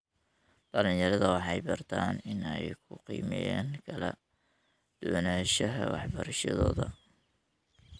Dhallinyarada waxay bartaan inay ku qiimeeyaan kala duwanaanshiyaha waxbarashadooda.